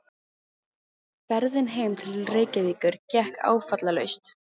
Ferðin heim til Reykjavíkur gekk áfallalaust.